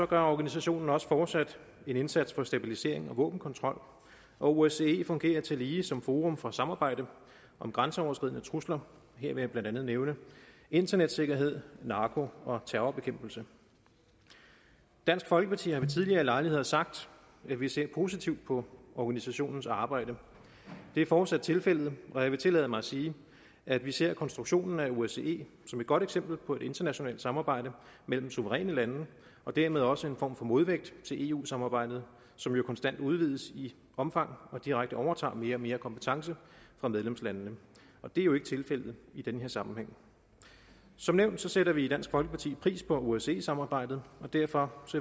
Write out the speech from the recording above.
gør organisationen også fortsat en indsats for stabilisering og våbenkontrol og osce fungerer tillige som forum for samarbejde om grænseoverskridende trusler her vil jeg blandt andet nævne internetsikkerhed narko og terrorbekæmpelse dansk folkeparti har ved tidligere lejligheder sagt at vi ser positivt på organisationens arbejde det er fortsat tilfældet og jeg vil tillade mig at sige at vi ser konstruktionen af osce som et godt eksempel på et internationalt samarbejde mellem suveræne lande og dermed også en form for modvægt til eu samarbejdet som jo konstant udvides i omfang og direkte overtager mere og mere kompetence fra medlemslandene og det er jo ikke tilfældet i den her sammenhæng som nævnt sætter vi i dansk folkeparti pris på osce samarbejdet og derfor